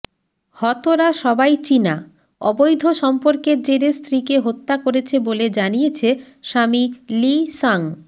হতরা সবাই চিনা অবৈধ সম্পর্কের জেরে স্ত্রীকে হত্যী করেছে বলে জানিয়েছে স্বামী লি সাঙ